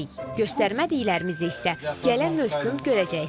Göstərmədiklərimizi isə gələn mövsüm görəcəksiniz.